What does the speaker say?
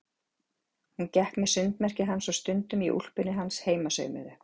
Hún gekk með sundmerkið hans og stundum í úlpunni hans heimasaumuðu.